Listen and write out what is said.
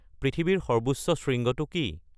পৃথিৱীৰ সৰ্বোচ্চ শৃঙ্গটো কি